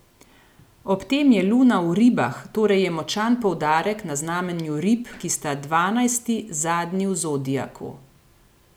Ob tem je Luna v Ribah, torej je močan poudarek na znamenju rib, ki sta dvanajsti, zadnji v zodiaku.